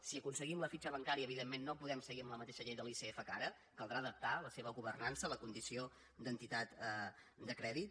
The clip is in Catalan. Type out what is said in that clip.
si aconseguim la fitxa bancària evidentment no podem seguir amb la mateixa llei de l’icf que ara caldrà adaptar la seva governança a la condició d’entitat de crèdit